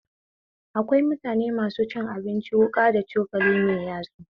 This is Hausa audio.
Akwai mutane masu cin abinci wuƙa da cokali mai yatsu